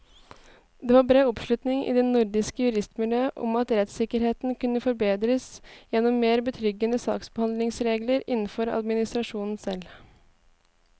Det var bred oppslutning i det nordiske juristmiljøet om at rettssikkerheten kunne forbedres gjennom mer betryggende saksbehandlingsregler innenfor administrasjonen selv.